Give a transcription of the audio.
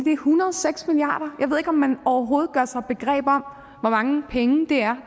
hundrede og seks milliard ikke om man overhovedet gør sig begreb om hvor mange penge det er